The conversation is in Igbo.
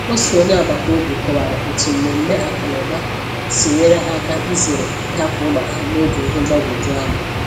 Otu onye agbata obi kọwara otu mmemme akụnụba si nyere ha áká izere ịhapụ ụlọ ha n’oge ihe mgbagwoju anya.